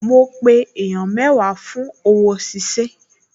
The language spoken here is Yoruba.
Mo pe èèyàn mẹ́wàá lónìí fún òwò ṣíṣe